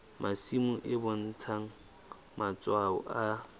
masimo e bontsha matshwao a